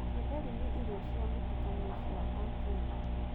Gĩtheri nĩ irio cia mũtukanio cia Akenya.